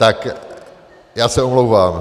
Tak já se omlouvám.